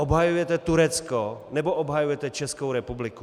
Obhajujete Turecko, nebo obhajujete Českou republiku?